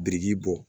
Biriki bɔ